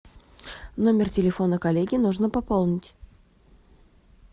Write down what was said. номер телефона коллеги нужно пополнить